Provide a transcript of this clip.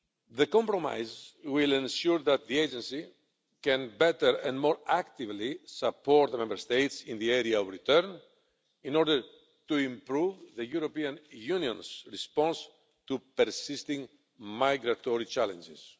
The compromise will ensure that the agency can better and more actively support the Member States in the area of return in order to improve the European Union's response to persisting migratory challenges.